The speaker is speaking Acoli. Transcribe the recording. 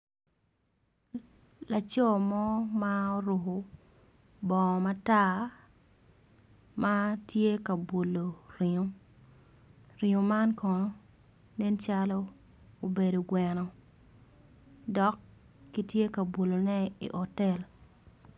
Laco mo ma oruko bongo matar matye ka bulo ringo ringo man kono nen calo obedo gweno dok kitye kabulo ne i otel.